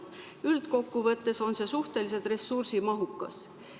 Üldkokkuvõttes on see suhteliselt ressursimahukas.